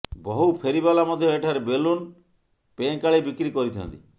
ବହୁ ଫେରିବାଲା ମଧ୍ୟ ଏଠାରେ ବେଲୁନ୍ ପେଁକାଳି ବିକ୍ରି କରିଥାନ୍ତି